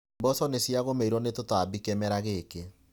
Mboco nĩ ciagũmĩrwo nĩ tũtambi kĩmera gĩkĩ.